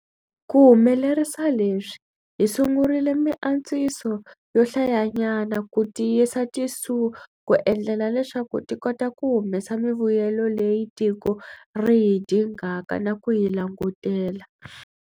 Ku humelerisa leswi, hi sungurile miantswiso yo hlayanyana ku tiyisa tiSOE ku endlela leswaku ti kota ku humesa mivuyelo leyi tiko ri yi dingaka na ku yi langutela.